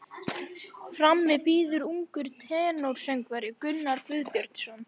Frammi bíður ungur tenórsöngvari, Gunnar Guðbjörnsson.